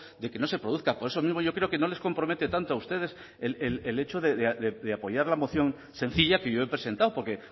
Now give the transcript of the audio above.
de que no se produzca por eso mismo yo creo que no les compromete tanto a ustedes el hecho de apoyar la moción sencilla que yo he presentado porque